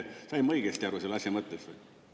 Sain ma õigesti aru selle asja mõttest?